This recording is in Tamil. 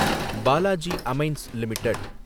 Balaji Amines limited